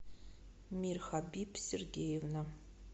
мирхабиб сергеевна